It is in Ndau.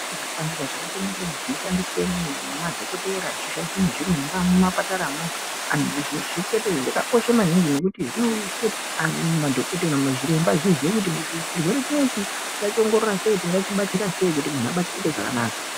Zvipanera zvakasiyana-siyana zvinoshandiswe nemadhokotera, zvinoshandiswe nezviremba mumapataramwo, zvakakosha maningi ngekuti zviremba zviziye kuti chirwere chinoichi tingachiongorora sei tingachibatsira sei kuti muntu abatsirwe zvakanaka.